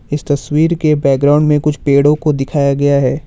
इस तस्वीर के बैकग्राउंड में कुछ पेड़ों को दिखाया गया है।